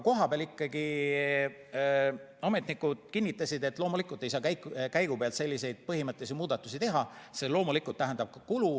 Kohapeal ametnikud kinnitasid, et loomulikult ei saa käigupealt selliseid põhimõttelisi muudatusi teha, see tähendab ka kulu.